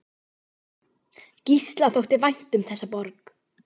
Gísla þótti vænt um þessa borg.